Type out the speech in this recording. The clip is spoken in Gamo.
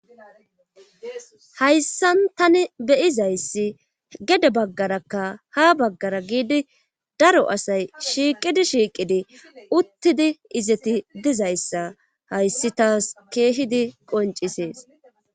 hayssan tani beyizayssi gede baggarakka ha baggara giidi daro asay shiiqidi shiiqidi uttidi izeti dizayssa hayssi taas keehidi qoncisees